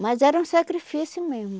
Mas era um sacrifício mesmo.